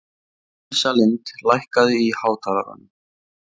Ísalind, lækkaðu í hátalaranum.